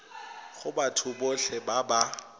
go batho botlhe ba ba